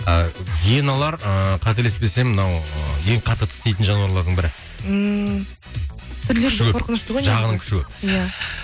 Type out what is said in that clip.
ы гиеналар ыыы қателеспесем мынау ең қатты тістейтін жануарлардың бірі ммм